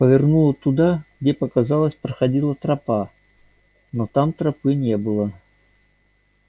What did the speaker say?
повернула туда где показалось проходила тропа но там тропы не было